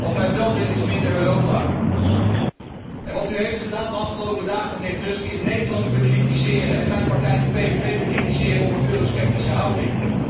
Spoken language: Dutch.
Wat wij wel willen, is minder Europa. Wat u heeft gedaan de afgelopen dagen, mijnheer Tusk, is Nederland bekritiseren en mijn partij, de PVV, bekritiseren om een eurosceptische houding.